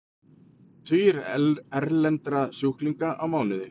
Tugir erlendra sjúklinga á mánuði